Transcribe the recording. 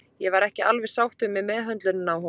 Ég var ekki alveg sáttur með meðhöndlunina á honum.